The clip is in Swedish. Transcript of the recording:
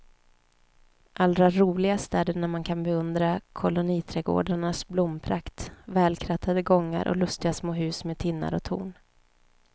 Allra roligast är det när man kan beundra koloniträdgårdarnas blomprakt, välkrattade gångar och lustiga små hus med tinnar och torn.